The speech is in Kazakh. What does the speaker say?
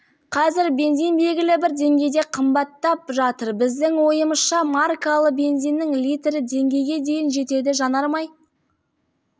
қазір бензин белгілі бір деңгейде қамбаттап жатыр біздің ойымызша маркалы бензиннің литрі теңгеге дейін жетеді жанармай